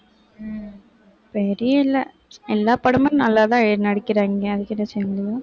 எல்லா படமும் நல்லாதான் எழுதி நடிக்கிறாங்க. அதுக்கு என்ன செய்ய முடியும்?